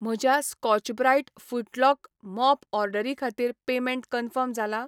म्हज्या Scotch Brite फुटलॉक mop ऑर्डरी खातीर पेमेंट कन्फर्म जाला?